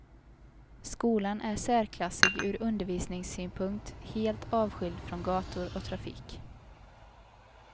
Skolan är särklassig ur undervisningssynpunkt, helt avskild från gator och trafik.